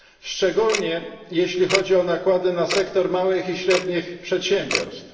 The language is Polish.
szczególnie jeśli chodzi o nakłady na sektor małych i średnich przedsiębiorstw.